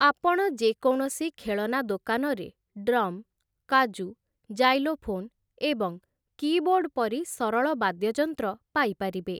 ଆପଣ ଯେକୌଣସି ଖେଳନା ଦୋକାନରେ ଡ୍ରମ୍, କାଜୁ, ଜାଇଲୋଫୋନ୍, ଏବଂ କୀବୋର୍ଡ଼୍ ପରି ସରଳ ବାଦ୍ୟଯନ୍ତ୍ର ପାଇପାରିବେ ।